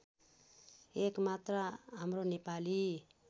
एकमात्र हाम्रो नेपाली